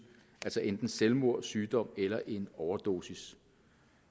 enten selvmord sygdom eller en overdosis